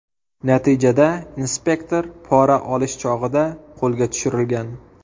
Natijada inspektor pora olish chog‘ida qo‘lga tushirilgan.